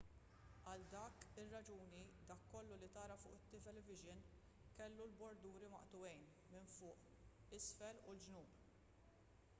għal dik ir-raġuni dak kollu li tara fuq it-tv kellu l-borduri maqtugħin minn fuq isfel u l-ġnub